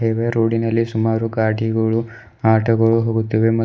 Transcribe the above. ಇದೆ ರೋಡಿನಲ್ಲಿ ಸುಮಾರು ಗಾಡಿಗಳು ಆಟೋ ಗಳು ಹೋಗುತ್ತಿವೆ ಮತ್--